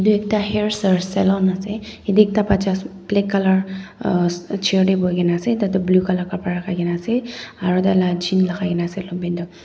edu ekta hairs or salon ase yatae ekta bacha black colour uuh chair tae boikaena ase tai toh blue colour kapra lakaikaena ase aro tai la jean lakai na ase longpant toh.